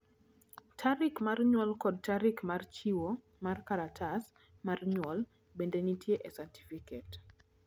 tarik mar nyuol kod tarik mar chiwo mar kalatas mar nyuol bende nitie e satifiket